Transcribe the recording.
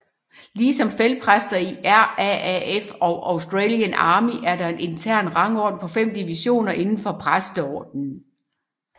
Ligesom feltpræster i RAAF og Australian Army er der en intern rangorden på 5 divisioner indenfor præsteordenen